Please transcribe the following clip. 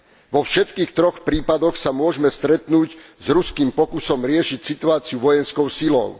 Vo všetkých troch prípadoch sa môžeme stretnúť s ruským pokusom riešiť situáciu vojenskou silou.